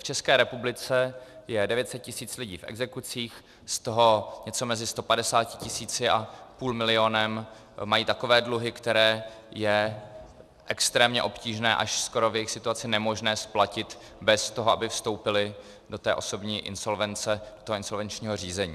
V České republice je 900 tisíc lidí v exekucích, z toho něco mezi 150 tisíci a půl milionem mají takové dluhy, které je extrémně obtížné, až skoro v jejich situaci nemožné splatit bez toho, aby vstoupili do té osobní insolvence, do toho insolvenčního řízení.